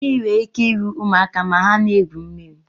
Mmiri nwere ike iri ụmụaka ma ha na-egwu mmiri